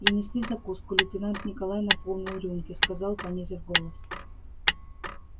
принесли закуску лейтенант николай наполнил рюмки сказал понизив голос